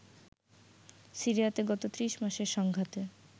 সিরিয়াতে গত ৩০ মাসের সংঘাতে